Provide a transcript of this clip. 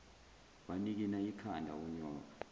wanikina ikhanda unyoka